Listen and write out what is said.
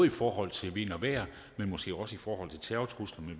i forhold til vind og vejr men måske også i forhold til terrortruslen